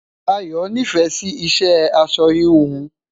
Ayo n'ifẹ Si iṣẹ aṣọ híhun